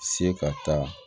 Se ka taa